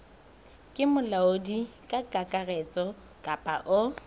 ke molaodi kakaretso kapa o